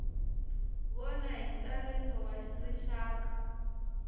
vona hi ntsariso wa rixaka